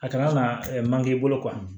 A kan ka manke i bolo